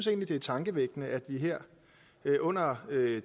det er tankevækkende at vi her under